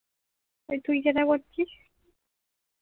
তুই যেটা করছিস